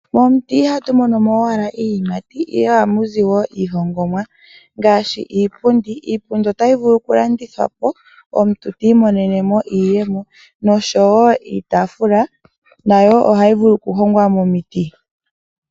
Momuti ihatu mono mo owala iiyimati ihe ohamu zi woo iihongomwa ngaashi iipundi. Iipundi otayi vulu okulandithwa po omuntu ti imonene mo iiyemo, noshowo iitaafula nayo ohayi vulu okuhongwa momiti.